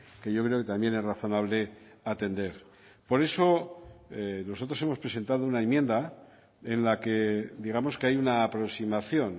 que yo creo que también es razonable atender por eso nosotros hemos presentado una enmienda en la que digamos que hay una aproximación